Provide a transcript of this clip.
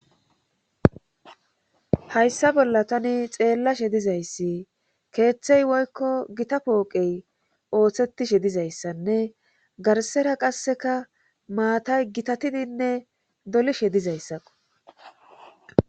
Hayssa bolla tani xeellashe dizayssi keeththey woykko gita pooqey ooththetishe dizayssanne garsera qasseka maatay gitatidinne dolishe dizayssaqo.